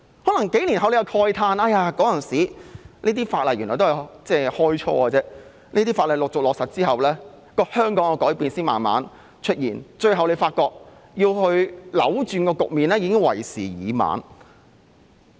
可能數年後市民會慨嘆，這些法例原來只是開始，陸續落實後香港的改變才慢慢出現，最後發覺要去扭轉局面，已經為時已晚。